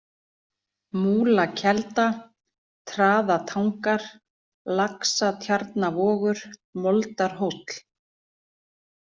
Múlakelda, Traðatangar, Laxatjarnarvogur, Moldarhóll